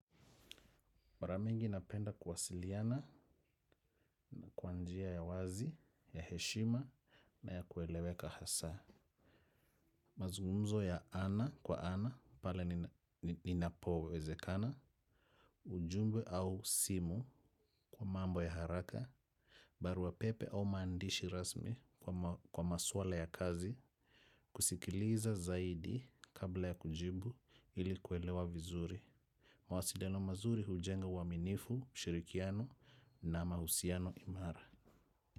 Mara mingi napenda kuwasiliana na kwa njia ya wazi, ya heshima na ya kueleweka hasa. Mazungumzo ya ana kwa ana, pale ninapowezekana, ujumbe au simu kwa mambo ya haraka, barua pepe au maandishi rasmi kwa maswala ya kazi, kusikiliza zaidi kabla ya kujibu ili kuelewa vizuri. Mawasiliano mazuri hujenga uaminifu, ushirikiano na mahusiano imara.